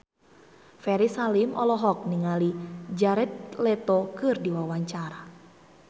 Ferry Salim olohok ningali Jared Leto keur diwawancara